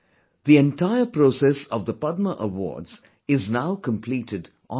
The entire process of the Padma Awards is now completed online